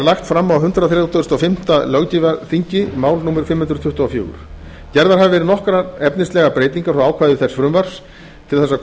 lagt fram á hundrað þrítugasta og fimmta löggjafarþingi fimm hundruð tuttugustu og fjórða mál gerðar hafa verið nokkrar efnislegar breytingar frá ákvæðum þess frumvarps til að